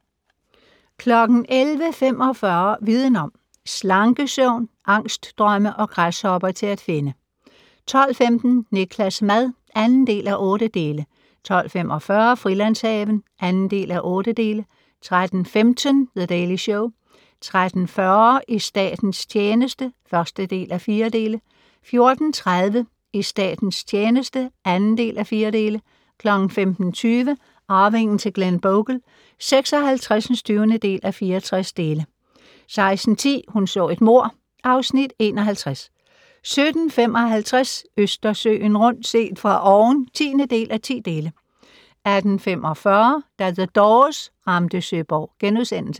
11:45: Viden om: Slankesøvn, angstdrømme og græshopper til at finde 12:15: Niklas' mad (2:8) 12:45: Frilandshaven (2:8) 13:15: The Daily Show 13:40: I statens tjeneste (1:4) 14:30: I statens tjeneste (2:4) 15:20: Arvingen til Glenbogle (56:64) 16:10: Hun så et mord (Afs. 51) 17:55: Østersøen rundt - set fra oven (10:10) 18:45: Da The Doors ramte Søborg *